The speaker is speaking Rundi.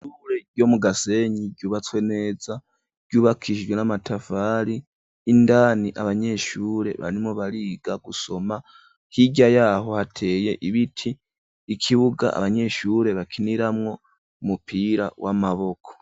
Ishure ryo mu Gasenyi ryubatswe neza ryubakijwe n'amatafari. Indani abanyeshure barimwo bariga gusoma, hirya y'aho hateye ibiti, ikibuga abanyeshure bakiniramwo umupira w'amaboko.